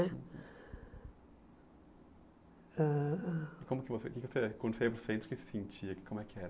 Né? Ãh... E como que você que quando você ia para o centro, o que você sentia? Como é que era?